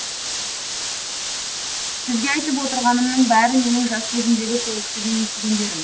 сізге айтып отырғанымның бәрі менің жас кезімдегі сол кісіден естігендерім